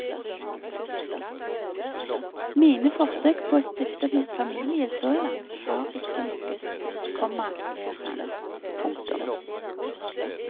Mine forsøk på å stifte familie så langt har ikke lykkes, komma ler han. punktum